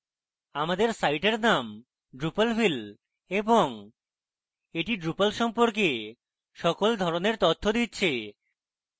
আমাদের সাইটের name drupalville এবং the drupal সম্পর্কে সকল ধরনের তথ্য দিচ্ছে